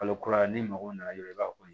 Kalo kura ye n'i mago nana dɔrɔn i b'a ko